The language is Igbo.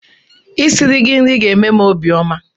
I siri gị nri ga-eme m obiọma.